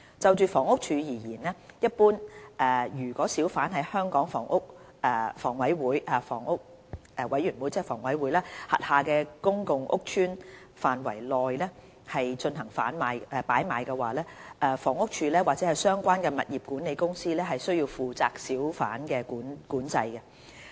就房屋署而言，一般而言，如小販在香港房屋委員會轄下的公共屋邨範圍內進行擺賣，房屋署或相關物業管理公司須負責小販管制。